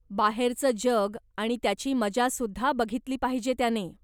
बाहेरचं जग आणि त्याची मजासुद्धा बघितली पाहिजे त्याने.